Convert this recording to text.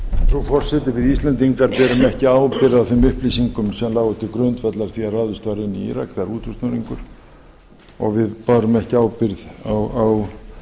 frú forseti við íslendingar berum ekki ábyrgð á þeim upplýsingum sem lágu til grundvallar þegar ráðist var inn í írak það er útúrsnúningur við bárum ekki ábyrgð á